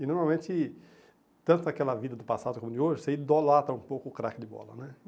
E normalmente, tanto naquela vida do passado como de hoje, você idolata um pouco o craque de bola, né?